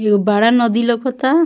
एगो बड़ा नदी लोकता।